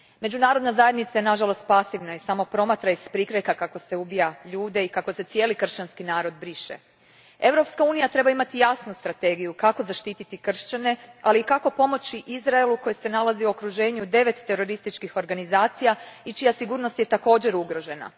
Međunarodna zajednica je, nažalost, pasivna i samo promatra iz prikrajka kako se ubija ljude i kako se cijeli kršćanski narod briše. Europska unija treba imati jasnu strategiju kako zaštititi kršćane, ali i kako pomoći Izraelu koji se nalazi u okruženju devet terorističkih organizacija i čija sigurnost je također ugrožena.